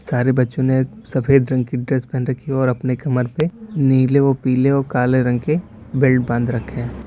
सारे बच्चों ने सफेद रंग की ड्रेस पेहन रखी और अपने कमर पे नीले व पीले व काले रंग के बेल्ट बांध रखे हैं।